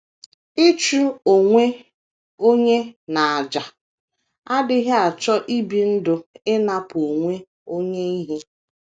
Ịchụ onwe onye n’àjà adịghị achọ ibi ndụ ịnapụ onwe onye ihe.